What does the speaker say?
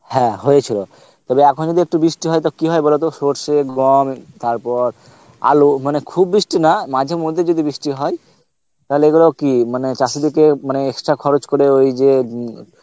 হ্যাঁ হয়েছিল তবে এখন যদি একটু বৃষ্টি হয় তবে কি হয় বলতো সরষে গম তারপর আলু মানে খুব বৃষ্টি না মাঝেমধ্যে যদি বৃষ্টি হয় তাহলে এগুলো কি মানে চাষীদেরকে মানে extra খরচ করে ওই যে উম